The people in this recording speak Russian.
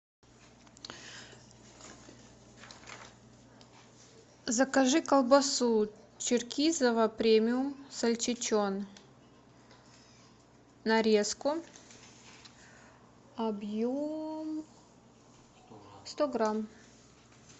закажи колбасу черкизово премиум сальчичон нарезку объем сто грамм